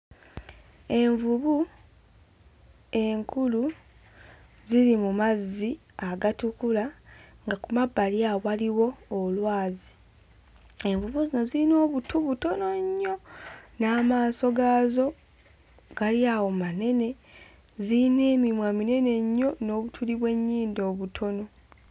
Envubu enkulu ziri mu mazzi agatukula nga ku mabbali awo waliwo olwazi envubu zino ziyina obutu butono nnyo n'amaaso gaazo gali awo manene ziyina emimwa minene nnyo n'obutuli bw'ennyindo obutono.